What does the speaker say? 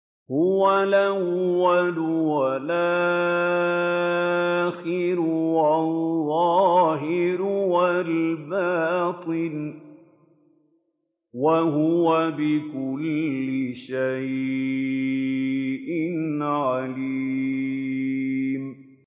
هُوَ الْأَوَّلُ وَالْآخِرُ وَالظَّاهِرُ وَالْبَاطِنُ ۖ وَهُوَ بِكُلِّ شَيْءٍ عَلِيمٌ